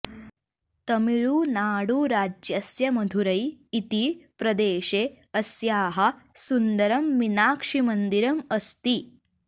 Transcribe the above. तमिळुनाडुराज्यस्य मधुरै इति प्रदेशे अस्याः सुन्दरं मीनाक्षीमन्दिरम् अस्ति